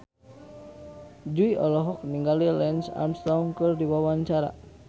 Jui olohok ningali Lance Armstrong keur diwawancara